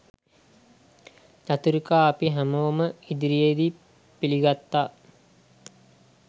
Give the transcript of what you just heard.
චතුරිකා අපි හැමෝම ඉදිරියේදී පිළිගත්තා